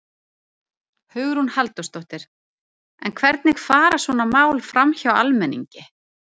Hugrún Halldórsdóttir: En hvernig fara svona mál framhjá almenningi?